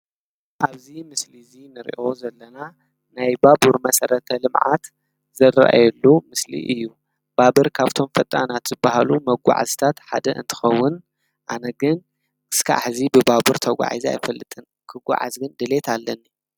ኣብዚ ምስሊ ንሪኦ ዘለና ናይ ባቡር መሰረት ልምዓት ዝረኣየሉ ምስሊ እዩ። ባቡር ካብቶም ፈጣናት ዝበሃሉ መጓዓዝቲ ሓደ እንትከዉን ኣነ ግን እስካብ ሀዚ ብባቡር ተጓዒዘ ኣይፈልጥን ክጉዓዝ ግን ድሌት ኣለኒ።